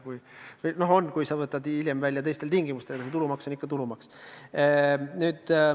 No tegelikult on, juhul kui sa võtad raha välja hiljem teistel tingimustel, aga tulumaks on ikka tulumaks.